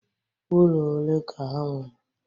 Ulo ole ka ha nwere.